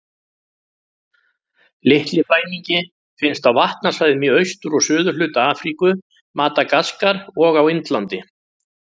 Litli flæmingi finnst á vatnasvæðum í austur- og suðurhluta Afríku, Madagaskar og á Indlandi.